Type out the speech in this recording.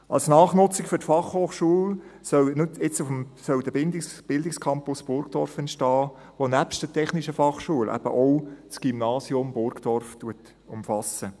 Als Nachnutzung für die BFH soll der Bildungscampus Burgdorf entstehen, der nebst der TF Bern eben auch das Gymnasium Burgdorf umfasst.